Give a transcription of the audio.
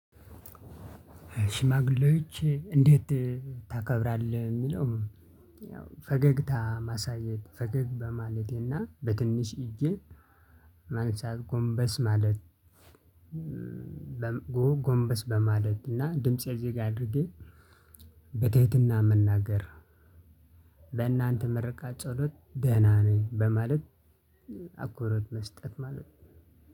ሽማግሌዎች እንዴት ታከብራለህ? የሚለውም ያው ፈገግታ ማሳየት፤ ፈገግ በማለቴና በትንሽ እጄ ማንሳት፣ ጎንበስ ማለት፣ ጎንበስ በማለት እና ድምፄ ዝግ አድርጌ፣ በትህትና መናገር፤ ለእናንተ ምርቃት ጸሎት ደህና ነኝ፤ በማለት አክብሮት መስጠት ማለት ነው፤